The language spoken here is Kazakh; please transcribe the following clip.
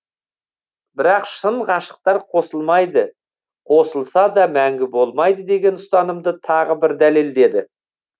бірақ шын ғашықтар қосылмайды қосылса да мәңгі болмайды деген ұстанымды тағы бір дәлелдеді